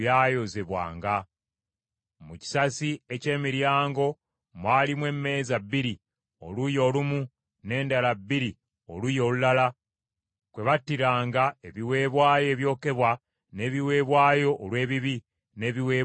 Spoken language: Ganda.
Mu kisasi eky’emiryango mwalimu emmeeza bbiri oluuyi olumu n’endala bbiri oluuyi olulala kwe battiranga ebiweebwayo ebyokebwa, n’ebiweebwayo olw’ebibi, n’ebiweebwayo olw’omusango.